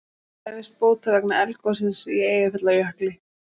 Krefjast bóta vegna eldgossins í Eyjafjallajökli